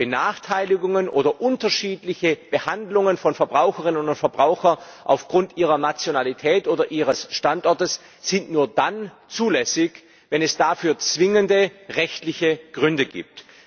Benachteiligungen oder unterschiedliche Behandlungen von Verbraucherinnen oder Verbrauchern aufgrund ihrer Nationalität oder ihres Standortes sind nur dann zulässig, wenn es dafür zwingende rechtliche Gründe gibt.